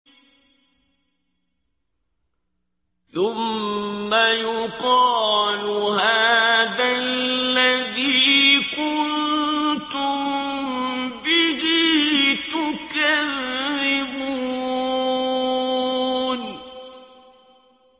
ثُمَّ يُقَالُ هَٰذَا الَّذِي كُنتُم بِهِ تُكَذِّبُونَ